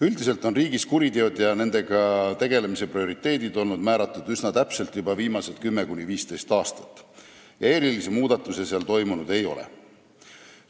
Üldiselt on riigis kuriteod ja nendega tegelemise prioriteedid olnud üsna täpselt kindlaks määratud juba viimased 10–15 aastat ja erilisi muudatusi seal toimunud ei ole.